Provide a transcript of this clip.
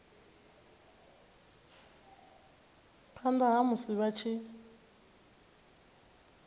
phanda ha musi vha tshi